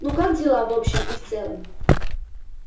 ну как дела в общем и в целом